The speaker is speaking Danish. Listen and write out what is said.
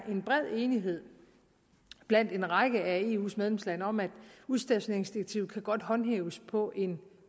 bred enighed blandt en række af eus medlemslande om at udstationeringsdirektivet godt kan håndhæves på en